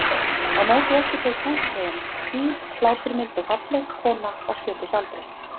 Á móti okkur tók húsfreyjan- hýr, hláturmild og falleg kona á sjötugsaldri.